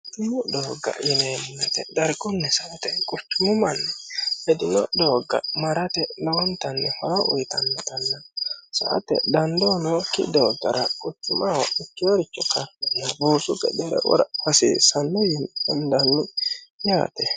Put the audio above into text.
quchumu doogga yineemmo woyeete dargunni sa"ate quchumu manni hedino doogga marate lawontanni horo uyitannotanna sa"ate dandoo nookki dooggara quchumaho ikiyoorichi kartinna buusu gedere wora hasiissanno yiini hendanni yaate